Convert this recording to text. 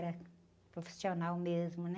Era profissional mesmo, né?